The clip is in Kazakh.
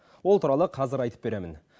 ол туралы қазір айтып беремін